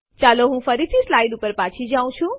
ચાલો હું ફરીથી સ્લાઇડ્સ ઉપર પાછી જાઉં